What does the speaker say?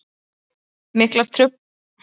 Miklar tafir urðu í framhaldinu